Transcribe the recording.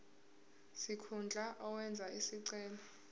sikhundla owenze isicelo